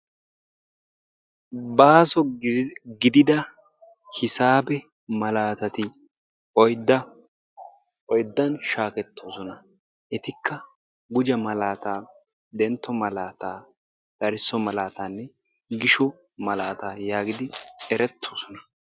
Baaso gidida hisaabe malaatati oydda, oyddan shaketosona. Etikka gujjo malaataa, dentto malaataa. darisso malaataanne gisho malaataa yaagidi eretosona.